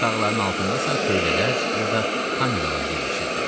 Digər tağların altında isə tövlələr ya da kameralar yerləşirdi.